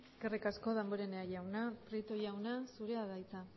eskerrik asko damborenea jauna prieto jauna zurea da hitza